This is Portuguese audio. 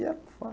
E é por